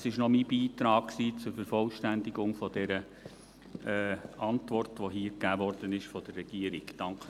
Das war noch mein Beitrag zur Vervollständigung der Antwort, die hier von der Regierung gegeben wurde.